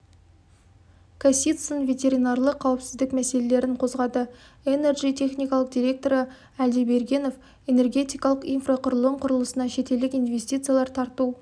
касицын ветеринарлық қауіпсіздік мәселелерін қозғады энерджи техникалық директоры әлдебергенов энергетикалық инфрақұрылым құрылысына шетелдік инвестициялар тарту